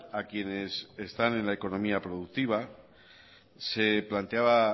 a quienes están en la economía productiva se planteaba